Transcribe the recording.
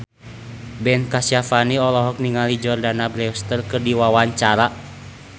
Ben Kasyafani olohok ningali Jordana Brewster keur diwawancara